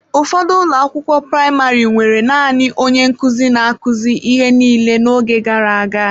Ụfọdụ ụlọ akwụkwọ praịmarị nwere naanị onye nkuzi na-akụzi ihe niile n'oge gara aga.